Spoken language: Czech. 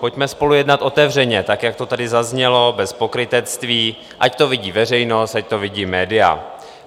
Pojďme spolu jednat otevřeně, tak, jak to tady zaznělo, bez pokrytectví, ať to vidí veřejnost, ať to vidí média.